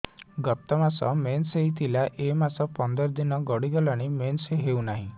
ଗତ ମାସ ମେନ୍ସ ହେଇଥିଲା ଏ ମାସ ପନ୍ଦର ଦିନ ଗଡିଗଲାଣି ମେନ୍ସ ହେଉନାହିଁ